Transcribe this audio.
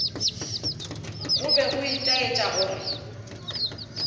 go be go itaetša gore